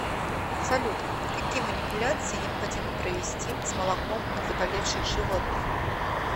салют какие манипуляции необходимо провести с молоком от заболевших животных